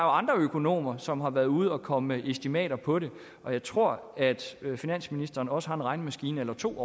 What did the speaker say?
andre økonomer som har været ude og komme med estimater på det og jeg tror at finansministeren også har en regnemaskine eller to